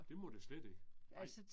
Det må det slet ikke. Nej